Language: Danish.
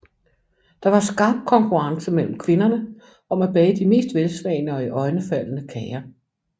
Der var skarp konkurrence mellem kvinderne om at bage de mest velsmagende og iøjnefaldende kager